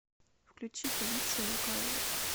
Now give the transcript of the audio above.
включи полиция лукаверос